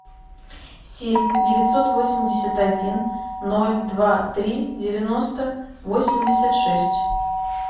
семь девятьсот восемьдесят один ноль два три девяносто восемьдесят шесть